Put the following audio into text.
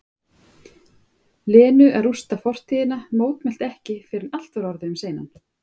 Lenu að rústa fortíðina, mótmælti ekki fyrr en allt var orðið um seinan.